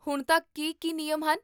ਹੁਣ ਤੱਕ ਕੀ ਕੀ ਨਿਯਮ ਹਨ?